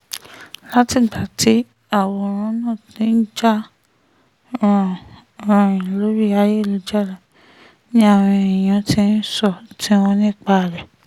látìgbà tí àwòrán náà ti ń jà ràn-ìn lórí ayélujára ni àwọn èèyàn ti ń sọ èrò tiwọn nípa rẹ̀